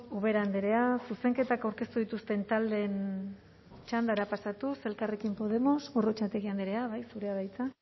ubera andrea zuzenketak aurkeztu dituzten taldeen txandara pasatuz elkarrekin podemos gorrotxategi andrea zurea da hitza